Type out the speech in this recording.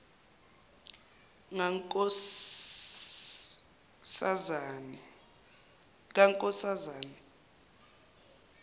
kankoszane